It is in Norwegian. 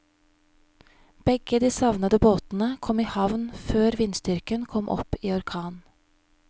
Begge de savnede båtene kom i havn før vindstyrken kom opp i orkan.